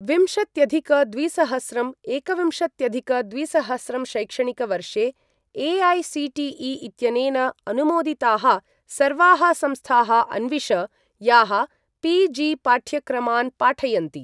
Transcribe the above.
विंशत्यधिक द्विसहस्रं एकविंशत्यधिक द्विसहस्रं शैक्षणिकवर्षे ए.ऐ.सी.टी.ई. इत्यनेन अनुमोदिताः सर्वाः संस्थाः अन्विष, याः पी.जी.पाठ्यक्रमान् पाठयन्ति।